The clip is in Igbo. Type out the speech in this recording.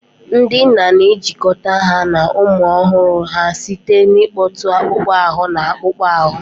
Ndị nna na-ejikọta ha na ụmụ ọhụrụ ha site n'ịkpọtụ akpụkpọ ahụ na akpụkpọ ahụ.